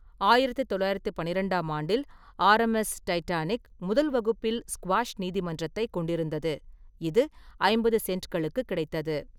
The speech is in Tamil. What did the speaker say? ஆயிரத்து தொள்ளாயிரத்து பன்னிரெண்டாம் ஆண்டில், ஆர்.எம்.எஸ் டைட்டானிக் முதல் வகுப்பில் ஸ்குவாஷ் நீதிமன்றத்தைக் கொண்டிருந்தது, இது ஐம்பது சென்ட்களுக்கு கிடைத்தது.